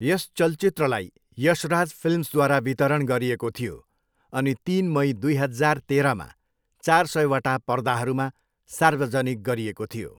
यस चलचित्रलाई यशराज फिल्म्सद्वारा वितरण गरिएको थियो अनि तिन मई, दुई हजार तेह्रमा चार सयवटा पर्दाहरूमा सार्वजनिक गरिएको थियो।